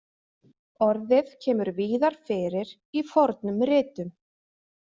Orðið kemur víðar fyrir í fornum ritum.